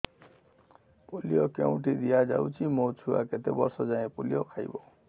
polio କେଉଁଠି ଦିଆଯାଉଛି ମୋ ଛୁଆ କେତେ ବର୍ଷ ଯାଏଁ ପୋଲିଓ ଖାଇବ